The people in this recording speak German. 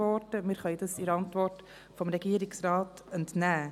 Wir können dies der Antwort des Regierungsrates entnehmen.